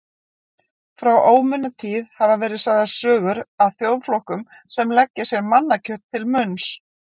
Frá ómunatíð hafa verið sagðar sögur af þjóðflokkum sem leggja sér mannakjöt til munns.